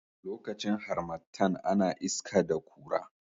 lokacin harmattan ana iska da Kura